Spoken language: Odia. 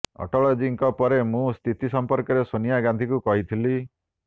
ଅଟଳଜୀଙ୍କ ପରେ ମୁଁ ସ୍ଥିତି ସମ୍ପର୍କରେ ସୋନିଆ ଗାନ୍ଧିଙ୍କୁ କହିଥିଲି